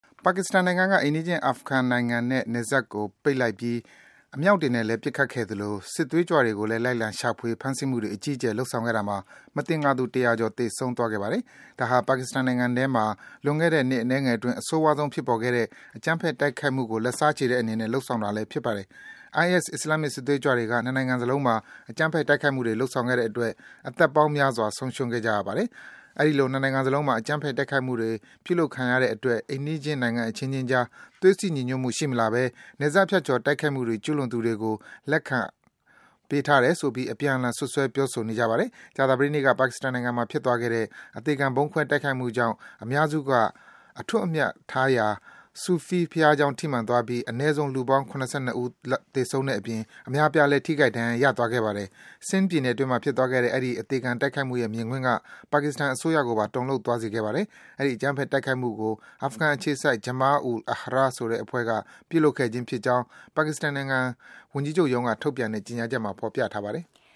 ပါကစ္စတန်နိုင်ငံက အိမ်နီးချင်း အာဖဂန်နိုင်ငံနဲ့ နယ်စပ်ကို ပိတ်ပစ်လိုက်ပြီး အမြောက်တွေနဲ့လည်း ပစ်ခတ်ခဲ့သလို စစ်သွေးကြွတွေကိုလည်း လိုက်လံ ရှာဖွေ၊ ဖမ်းဆီးမှုတွေ အကြီးအကျယ် လုပ်ဆောင်ခဲ့တာမှာ မသင်္ကာသူ ၁၀၀ ကျော် သေဆုံးသွားခဲ့ပါတယ်။ ဒါဟာ ပါကစ္စတန်နိုင်ငံထဲမှာ လွန်ခဲ့တဲ့ နှစ်အနည်းငယ်အတွင်း အဆိုးရွားဆုံး ဖြစ်ပေါ်ခဲ့တဲ့ အကြမ်းဖက် တိုက်ခိုက်မှုကို လက်စားချေတဲ့အနေနဲ့ လုပ်ဆောင်တာလည်း ဖြစ်ပါတယ်။ IS အစ္စလာမ်မစ် စစ်သွေးကြွတွေက နှစ်နိုင်ငံစလုံးမှာ အကြမ်းဖက် တိုက်ခိုက်မှုတွေ လုပ်ဆောင်ခဲ့တဲ့အတွက် အသက်ပေါင်းများစွာ ဆုံးရှုံးခဲ့ရပါတယ်။ အဲဒီလို နှစ်နိုင်ငံစလုံးမှာ အကြမ်းဖက် တိုက်ခိုက်မှုတွေ ပြုလုပ်ခံခဲ့ရတဲ့အတွက် အိမ်နီးချင်း နိုင်ငံအချင်းချင်းကြား သွေးစည်း ညီညွတ်မှု ရှိမလာဘဲ နယ်စပ်ဖြတ်ကျော် တိုက်ခိုက်မှုတွေ ကျူးလွန်သူတွေကို လက်ခံပေးထားတယ်ဆိုပြီး အပြန်အလှန် စွပ်စွဲ ပြောဆိုနေကြပါတယ်။ ကြာသပတေးနေ့က ပါကစ္စတန်နိုင်ငံမှာ ဖြစ်သွားခဲ့တဲ့ အသေခံဗုံးခွဲတိုက်ခိုက်မှုကြောင့် အများစုက အထွတ်အမြတ်ထားရာ Sufi ဘုရားကျောင်း ထိမှန်သွားပြီး အနဲဆုံး လူပေါင်း ၇၂ ဦးလောက် သေဆုံးတဲ့အပြင် အများအပြားလည်း ထိခိုက် ဒဏ်ရာ ရသွားခဲ့ပါတယ်။ Sindh ပြည်နယ်အတွင်းမှာ ဖြစ်သွားခဲ့တဲ့ အဲဒီ အသေခံတိုက်ခိုက်မှုရဲ့ မြင်ကွင်းက ပါကစ္စတန်အစိုးရကိုပါ တုန်လှုပ်သွားစေခဲ့ပါတယ်။ အဲဒီ အကြမ်းဖက် တိုက်ခိုက်မှုကို အာဖဂန်အခြေစိုက် Jama-ul-Ahrar ဆိုတဲ့အဖွဲ့က ပြုလုပ်ခဲ့ခြင်းကြောင်း ပါကစ္စတန်ဝန်ကြီးချုပ်ရုံးက ထုတ်ပြန်တဲ့ ကြေညာချက်မှာ ဖော်ပြထားပါတယ်။